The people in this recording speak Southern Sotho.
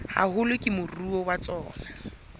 haholo ke moruo wa tsona